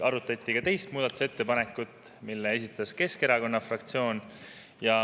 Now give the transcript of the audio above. Arutati ka teist muudatusettepanekut, mille esitas Keskerakonna fraktsioon.